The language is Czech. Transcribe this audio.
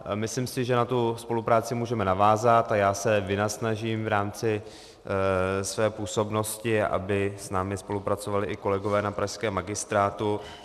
Myslím si, že na tu spolupráci můžeme navázat, a já se vynasnažím v rámci své působnosti, aby s námi spolupracovali i kolegové na pražském magistrátu.